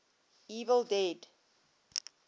evil dead